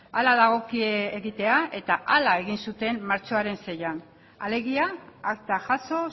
hala dagokie egitea eta hala egin zuten martxoaren seian alegia akta jaso